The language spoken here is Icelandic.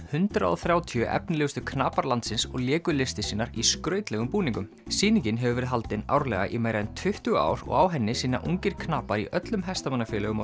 hundrað og þrjátíu efnilegustu knapar landsins og léku listir sínar í skrautlegum búningum sýningin hefur verið haldin árlega í meira en tuttugu ár og á henni sýna ungir knapar í öllum hestamannafélögum